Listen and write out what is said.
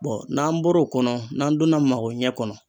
n'an bɔra o kɔnɔ n'an donna mago ɲɛ kɔnɔ